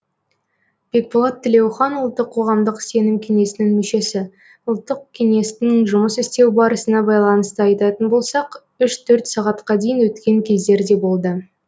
бекболат тілеухан ұлттық қоғамдық сенім кеңесінің мүшесі ұлттық кеңестің жұмыс істеу барысына байланысты айтатын болсақ үш төрт сағатқа дейін өткен кездер де болды